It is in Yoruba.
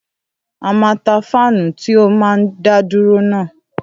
À mà tà fáánù tí ó máa ń dá dúró náà